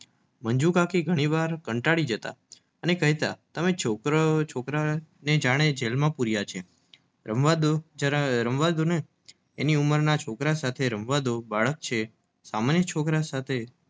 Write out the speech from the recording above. મંજુ કાકી ઘણીવાર કંટાળી જતા અને કેહતા તમે છોકરાઓને જાણે જેલમાં પૂરયા છે. રમવા ડો જરા રમવા ડોને એની ઉંબરમાં છોકરા સાથે રામવાદો બાળક છે સામાન્ય છોકરા સાથે